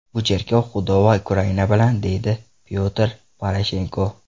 Bu cherkov Xudo va Ukraina bilan”, deydi Pyotr Poroshenko.